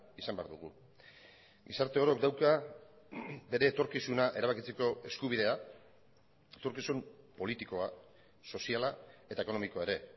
izan behar dugu gizarte orok dauka bere etorkizuna erabakitzeko eskubidea etorkizun politikoa soziala eta ekonomikoa ere